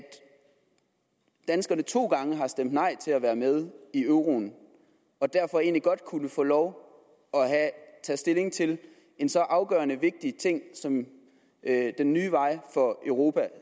danskerne to gange har stemt nej til at være med i euroen og derfor egentlig godt kunne få lov at tage stilling til en så afgørende vigtig ting som den nye vej for europa